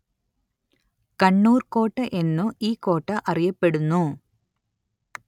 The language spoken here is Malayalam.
കണ്ണൂര്‍ കോട്ട എന്നും ഈ കോട്ട അറിയപ്പെടുന്നു